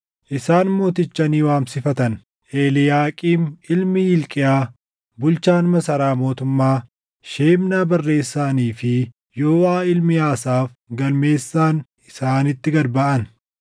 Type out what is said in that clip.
Isaan mooticha ni waamsifatan; Eliiyaaqiim ilmi Hilqiyaa bulchaan masaraa mootummaa, Shebnaa barreessaanii fi Yooʼaa ilmi Asaaf galmeessaan isaanitti gad baʼan.